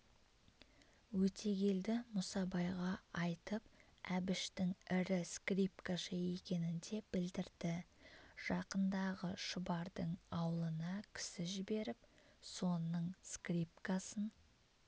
өтегелді мұсабайға айтып әбіштің ірі скрипкашы екенін де білдірді жақындағы шұбардың аулына кісі жіберіп соның скрипкасын